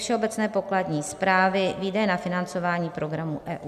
Všeobecné pokladní správy, výdaje na financování programu EU.